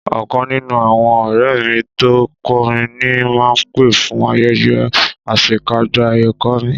Ọ̀kan nínú àwọn ọ̀rẹ́ mi tó ń kọrin ni máa pè fún ayẹyẹ àṣekágbá ẹ̀kọ́ mi